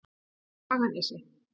Haganesi